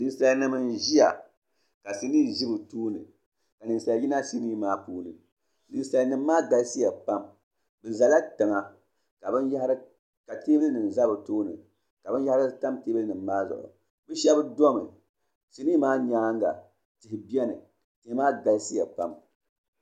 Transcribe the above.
Ninsalnim ʒiya ka sinii ʒɛ bɛ tooni ka ninsal yina sinii maa puuni ninsalinima maa galisiya Pam bɛ zala tiŋa ka teebulinima za bɛ tooni ka binyahiri tam teebulinim maa zuɣu shɛb dɔmi sinii maa nyaanga tihi beni tihi maa galisiya pam